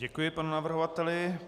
Děkuji panu navrhovateli.